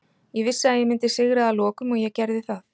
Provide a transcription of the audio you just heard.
Ég vissi að ég myndi sigra að lokum og ég gerði það.